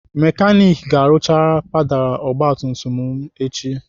Mekanik ga-arụcha pedalụ ogbatumtum m echi.